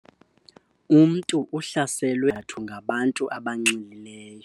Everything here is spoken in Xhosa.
Umntu uhlaselwe ngaphandle kwesizathu ngabantu abanxilileyo.